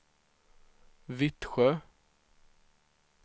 Vittsjö